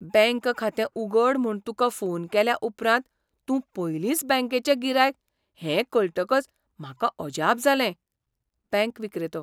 Bank खातें उगड म्हूण तुका फोन केल्या उपरांत तूं पयलींच बँकेचें गिरायक हें कळटकच म्हाका अजाप जालें. बँक विक्रेतो